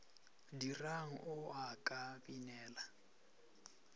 dirang a o ka binela